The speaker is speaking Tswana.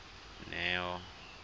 neo